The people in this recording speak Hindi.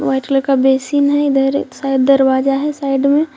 व्हाइट कलर का बेसिन है इधर सायद दरवाजा है साइड में।